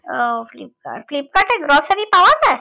ও ফ্লিপকার্টে grocery পাওয়া যায়